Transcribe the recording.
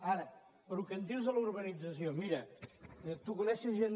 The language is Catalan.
ara pel que em dius de la urbanització mira tu coneixes gent